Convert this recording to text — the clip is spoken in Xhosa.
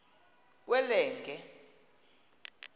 kwelenge